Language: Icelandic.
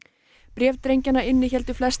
bréf drengjanna innihéldu flest